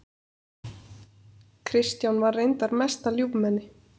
Kristján var reyndar mesta ljúfmenni.